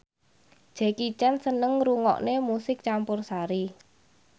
Jackie Chan seneng ngrungokne musik campursari